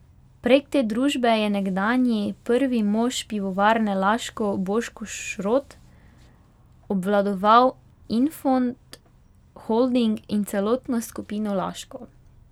Prek te družbe je nekdanji prvi mož Pivovarne Laško Boško Šrot obvladoval Infond Holding in celotno skupino Laško.